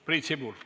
Priit Sibul.